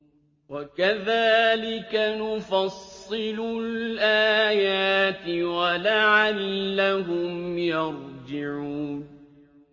وَكَذَٰلِكَ نُفَصِّلُ الْآيَاتِ وَلَعَلَّهُمْ يَرْجِعُونَ